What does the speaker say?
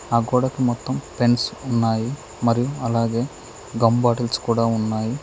ఆ గోడకు మొత్తం పెన్స్ ఉన్నాయి మరియు అలాగే గమ్ బాటిల్స్ కూడా ఉన్నాయి.